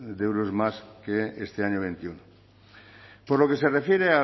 de euros más que este año veintiuno por lo que se refiere